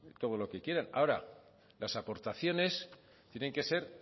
todo lo que quieran ahora las aportaciones tienen que ser